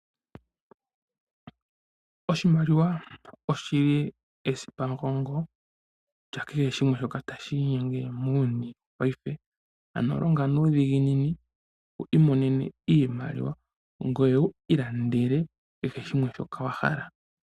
Oshimaliwa oshi li esipamugongo lya kehe shimwe shoka tashi inyenge muuyuni paife, ano longa nuudhiginini wu imonene iimaliwa ngoye wu ilandele kehe shimwe shoka wa hala.